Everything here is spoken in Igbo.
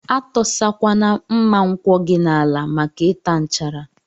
Atọsa kwana mma nkwọ gi n'ala maka ita nchara.